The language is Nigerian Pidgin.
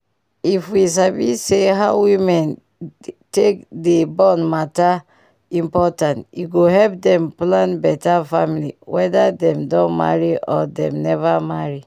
if we sabi say how women take dey born important e go help dem plan beta family weda dem don marry or dem neva marry